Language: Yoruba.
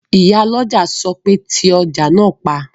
Ìyálọ́jà sọ pé "ti ọjà náà pa!"